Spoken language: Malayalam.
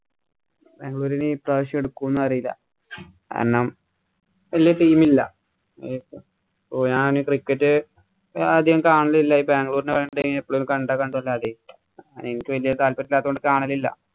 ബാംഗ്ലൂര്‍ ഇനി പ്രാവശ്യം എടുക്കുവോന്നു അറിയില്ല. കാരണം ഇല്ല team ഇല്ല. ഓ ഞാനീ cricket ആദ്യം കാണലില്ല. ഈ ബാംഗ്ലൂരിനു വേണ്ടി ഇപ്പൊ എനിക്ക് വല്യ താല്പര്യം ഇല്ലാത്തത് കൊണ്ട് കാണലില്ല.